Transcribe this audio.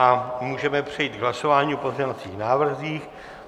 A můžeme přejít k hlasování o pozměňovacích návrzích.